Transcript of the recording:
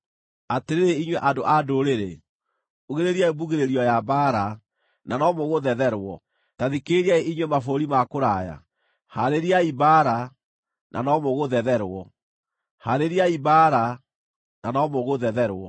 Atĩrĩrĩ inyuĩ andũ a ndũrĩrĩ, ugĩrĩriai mbugĩrĩrio ya mbaara, na no mũgũthetherwo! Ta thikĩrĩriai inyuĩ mabũrũri ma kũraya. Haarĩriai mbaara, na no mũgũthetherwo! Haarĩriai mbaara, na no mũgũthetherwo!